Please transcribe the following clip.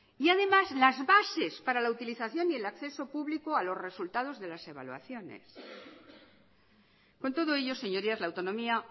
y además las bases para la utilización y el acceso público a los resultados de las evaluaciones con todo ello señorías la autonomía